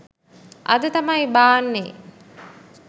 අද තමයි බාන්නේ